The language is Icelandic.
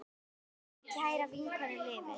Minning um kæra vinkonu lifir.